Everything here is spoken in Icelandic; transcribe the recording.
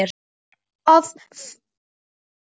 Og það frá sjálfri eiginkonu sinni.